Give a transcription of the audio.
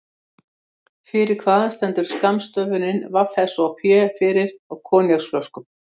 Snúðu fram frekar en aftur í bíl, skipi eða lest.